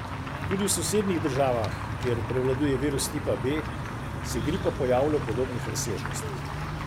Tudi v sosednjih državah, kjer prevladuje virus tipa B, se gripa pojavlja v podobnih razsežnostih.